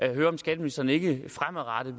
vil høre om skatteministeren ikke fremadrettet